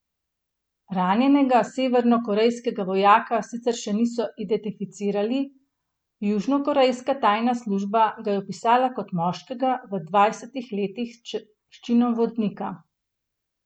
Ranjenega severnokorejskega vojaka sicer še niso identificirali, južnokorejska tajna služba ga je opisala kot moškega v dvajsetih letih s činom vodnika.